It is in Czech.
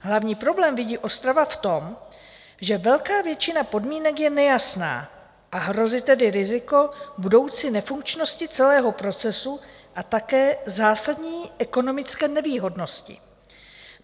Hlavní problém vidí Ostrava v tom, že velká většina podmínek je nejasná, a hrozí tedy riziko budoucí nefunkčnosti celého procesu a také zásadní ekonomické nevýhodnosti.